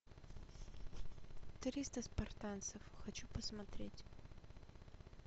триста спартанцев хочу посмотреть